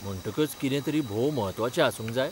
म्हणटकच कितें तरी भोव म्हत्वाचें आसूंक जाय?